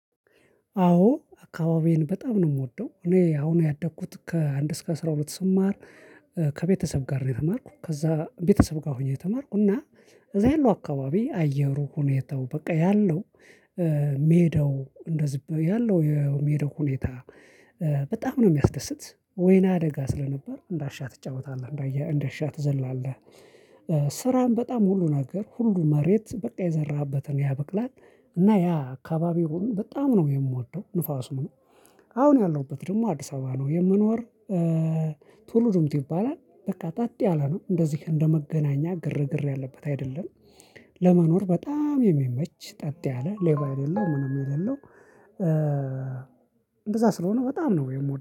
አዎ አካባቢዬን በጣም ነው የምወደው እኔ አሁን ያደኩት ከአንድ እስከ አስራ ሁለት ስም ማር ከቤተሰብ ጋር ነው የተማርኩ፣ ከዛ ቤተሰብ ጋር ሆኜ ተማርኩ እና እዛ ያለው አካባቢ አየሩ ሁኔታው በቃ ያለው ሜዳው እንደዚህ ያለው የሚሄደው ሁኔታ በጣም ነው የሚያስደስት ወይና አደጋ ስለነበር እንዳሻ ትጫወታለህ፣ እንዳየህ እንዳሻ ትዘላለህ ስራም በጣም ሁሉ ነገር ሁሉ መሬት በቃ የዘራበትን ያበቅላል እና ያ አካባቢውን በጣም ነው የምወደው ንፋሱ ምኑ አሁን ያለሁበት ደግሞ አዲስ አበባ ነው የምኖር ትሉዲምቱ ይባላል በቃ ጠጥ ያለ ነው እንደዚህ እንደመገናኛ ግርግር ያለበት አይደለም ለመኖር በጣም የሚመች ጠጥ ያለ ሌባ የሌለው ምንም የሌለው እንደዛ ስለሆነ በጣም ነው የምወደው።